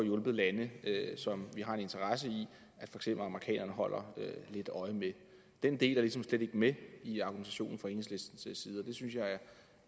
hjulpet lande som vi har en interesse i at amerikanerne holder lidt øje med den del er ligesom slet ikke med i argumentationen fra enhedslistens